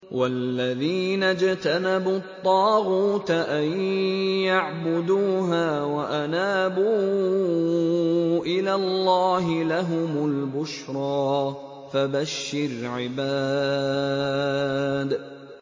وَالَّذِينَ اجْتَنَبُوا الطَّاغُوتَ أَن يَعْبُدُوهَا وَأَنَابُوا إِلَى اللَّهِ لَهُمُ الْبُشْرَىٰ ۚ فَبَشِّرْ عِبَادِ